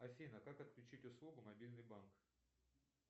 афина как отключить услугу мобильный банк